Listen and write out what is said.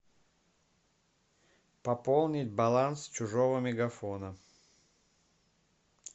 пополнить баланс чужого мегафона